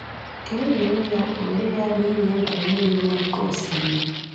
Ka e were ya were ya na ị na-egwu mmiri n’oké osimiri.